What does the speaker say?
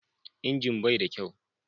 Injin bai da kyau.